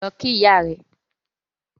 Lọ kí ìyá rẹ!